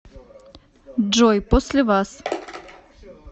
джой после вас